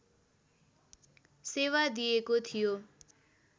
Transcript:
सेवा दिएको थियो